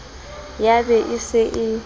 ya be e se e